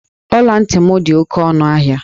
Ọla ntị m dị oke ọnụ ahịa.